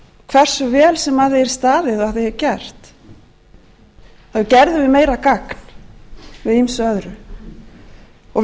hversu vel sem að því staðið og að því er gert þá gerðum við meira gagn með ýmsu öðru og við eigum